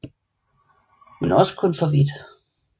Men også kun for så vidt